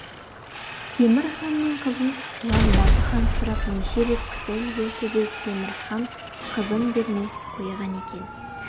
темір ханның қызын жылан бапы хан сұрап неше рет кісі жіберсе де темір хан қызын бермей қойған екен